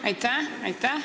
Aitäh!